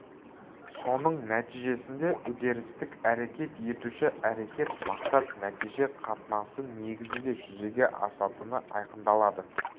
соның нәтижесінде үдерістік әрекет етуші әрекет мақсат нәтиже қатынасы негізінде жүзеге асатыны айқындалады